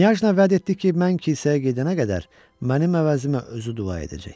Knyajna vəd etdi ki, mən kilsəyə gedənə qədər mənim əvəzimə özü dua edəcək.